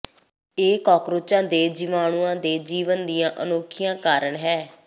ਇਹ ਕਾਕਰੋਚਾਂ ਦੇ ਜੀਵਾਣੂਆਂ ਦੇ ਜੀਵਨ ਦੀਆਂ ਅਨੋਖੀਆਂ ਕਾਰਨ ਹੈ